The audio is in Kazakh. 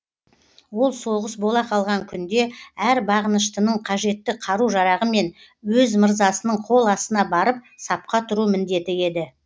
ол соғыс бола қалған күнде әр бағыныштының қажетті қару жарағымен өз мырзасының қол астына барып сапқа тұру міндеті еді